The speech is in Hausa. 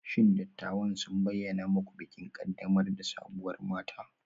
Shin dattawan sun bayyana muku bikin ƙaddamar da sabuwar mata?